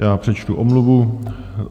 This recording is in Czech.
Já přečtu omluvu.